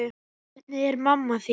Hvernig er mamma þín?